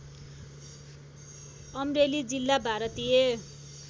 अमरेली जिल्ला भारतीय